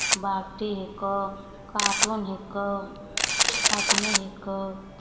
बाल्टी हैको कार्टून हैको आदमी हैको